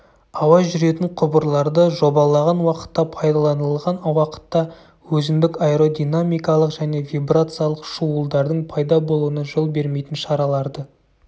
ауа жүретін құбырларды жобалаған уақытта пайдаланылған уақытта өзіндік аэродинамикалық және вибрациялық шуылдардың пайда болуына жол бермейтін шараларды